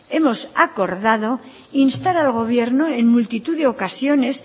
hemos acordado instar al gobierno en multitud de ocasiones